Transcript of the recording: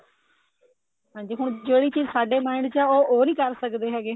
ਹਾਂਜੀ ਹੁਣ ਜਿਹੜੀ ਚੀਜ ਸਾਡੇ mind ਚ ਹੈ ਉਹ ਹੁਣ ਉਹ ਨਹੀਂ ਕਰ ਸਕਦੇ ਹੈਗੇ